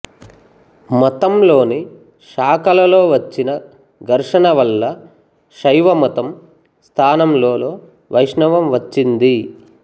మతంలోని శాఖలలోవచ్చిన ఘర్షణల వల్ల శైవ మతం స్థానంలోలో వెష్ణవం వచ్చింది